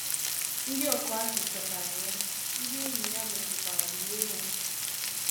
Ndị ọkụ azụ̀ chọtara ya, ndị enyi ya mesịkwara lie ya.